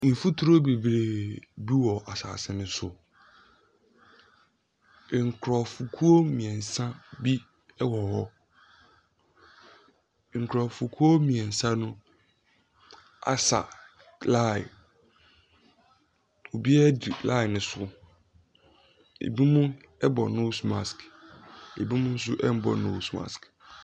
Mfuturo bebree bi wɔ asase no so. Nkurɔfokuo mmeɛnsa bi wɔ hɔ. Nkurɔfokuo mmeɛnsa no asa line. Obiara di line no so. Ebinom bɔ nose mask, ebinom nso mmɔ nose mask.